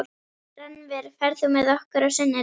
Rannver, ferð þú með okkur á sunnudaginn?